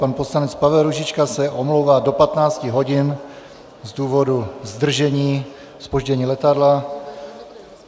Pan poslanec Pavel Růžička se omlouvá do 15 hodin z důvodu zdržení, zpoždění letadla.